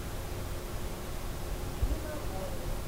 нина морина